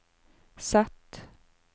Z